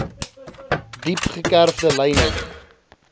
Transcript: diep gekerfde lyne